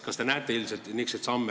Kas te näete selliseid samme?